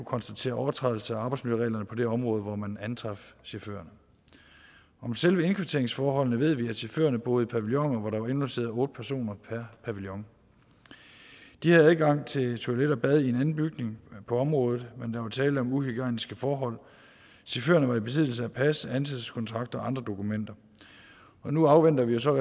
konstatere overtrædelse af arbejdsmiljøreglerne på det område hvor man antraf chaufførerne om selve indkvarteringsforholdene ved vi at chaufførerne boede i pavilloner hvor der var indlogeret otte personer per pavillon de havde adgang til toilet og bad i en anden bygning på området men der var tale om uhygiejniske forhold chaufførerne var i besiddelse af pas ansættelseskontrakt og andre dokumenter nu afventer vi jo så